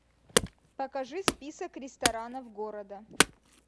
покажи список ресторанов города